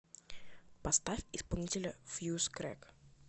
поставь исполнителя фьюз крэк